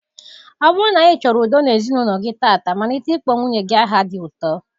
Ọ bụrụ na ịchoro udo n'ezinụlọ gi tata malite ikpo nwunye gi aha di uto